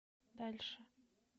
дальше